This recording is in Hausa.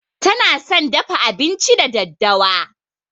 Tana son dafa abinci da daddawa.